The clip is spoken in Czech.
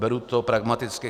Beru to pragmaticky.